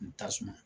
N tasuma